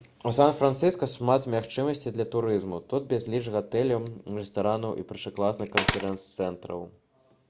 у сан-францыска шмат магчымасцяў для турызму тут безліч гатэляў рэстаранаў і першакласных канферэнц-цэнтраў